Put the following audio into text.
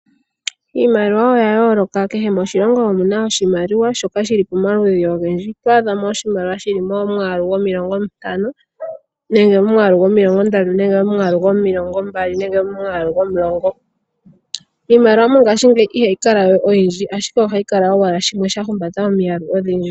Iimaliwa oya yooloka, kehe moshilongo omuna oshimaliwa shoka shili pomaludhi ogendji. Oto adha mo oshimaliwa shili momwaalu gomilongo ntano nenge momwaalu gomilongo ndatu nenge momwaalu gomilongo mbali nenge momwaalu gomulongo. Iimaliwa mongaashingeyi ihayi kala oyindji ashike ohayi kala owala shimwe, sha humbata omiyalu odhindji.